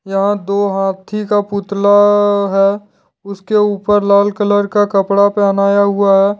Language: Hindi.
यहाँ दो हाथी का पुतला है उसके ऊपर लाल कलर का कपड़ा पहनाया हुआ है।